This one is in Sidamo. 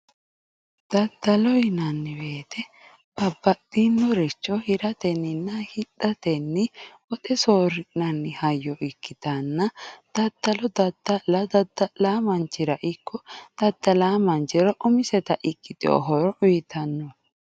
Daddalo yinanni woyte babbaxxinoricho hiratenninna hidhatenni woxe soorri'nanni hayyo ikkitanna daddalo dadda'la dadda'laa manchira umiseta ikkiteyo horo uyitanno